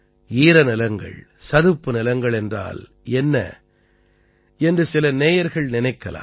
ஈரநிலங்கள் சதுப்புநிலங்கள் என்றால் என்ன என்று சிலல நேயர்கள் நினைக்கலாம்